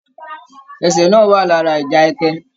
Ẹ̀sẹ́ náà wà lára ìjà ẹkẹ.